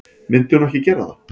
Myndi hún ekki gera það?